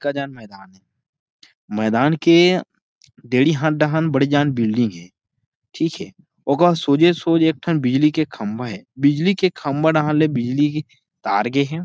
अतका झन मैदान हे मैदान के देड़ी हाथ डाहां बड़े झन बिल्डिंग हे ठीक हे ओकर सोझे सोझ एक ठन बिजली के खम्बा हे बिजली के खम्बा डाहन ले बिजली के तार गे हे।